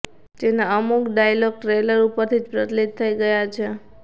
તેના અમુક dialogue trailer ઉપરથી જ પ્રચલિત થઈ ગયા છે